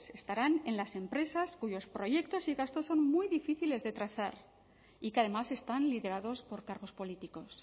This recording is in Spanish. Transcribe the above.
estarán en las empresas cuyos proyectos y gastos son muy difíciles de trazar y que además están liderados por cargos políticos